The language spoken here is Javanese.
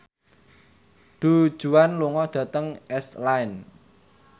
Du Juan lunga dhateng Iceland